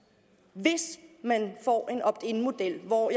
hvis man får en opt in model og